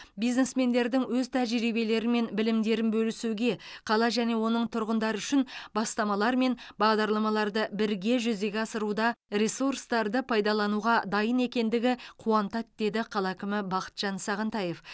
бизнесмендердің өз тәжірибелері мен білімдерін бөлісуге қала және оның тұрғындары үшін бастамалар мен бағдарламаларды бірге жүзеге асыруда ресурстарды пайдалануға дайын екендігі қуантады деді қала әкімі бақытжан сағынтаев